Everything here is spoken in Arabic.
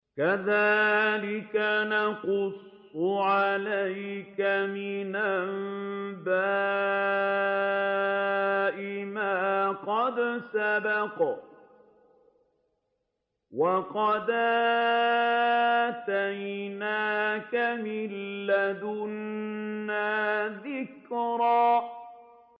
كَذَٰلِكَ نَقُصُّ عَلَيْكَ مِنْ أَنبَاءِ مَا قَدْ سَبَقَ ۚ وَقَدْ آتَيْنَاكَ مِن لَّدُنَّا ذِكْرًا